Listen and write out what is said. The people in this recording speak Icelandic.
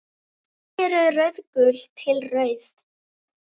Berin eru rauðgul til rauð.